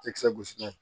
Ekisɛ gosi n'a ye